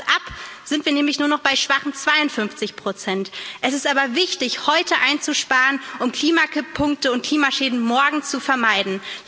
Zieht man das ab, sind wir nämlich nur noch bei schwachen 52 Es ist aber wichtig, heute einzusparen, um Klimakipp Punkte und Klimaschäden morgen zu vermeiden.